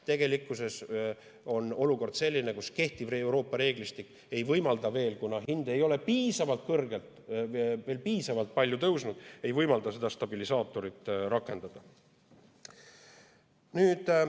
Tegelikkuses on olukord selline, kus kehtiv Euroopa reeglistik ei võimalda veel, kuna hind ei ole piisavalt kõrgel või piisavalt palju tõusnud, seda stabilisaatorit rakendada.